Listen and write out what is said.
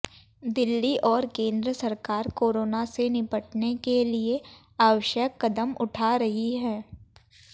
दिल्ली और केंद्र सरकार कोरोना से निपटने के लिए आवश्यक कदम उठा रही हैं